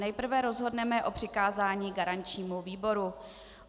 Nejprve rozhodneme o přikázání garančnímu výboru.